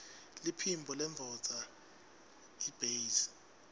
liphimbo lendvodza yiytbase